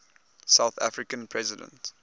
south african president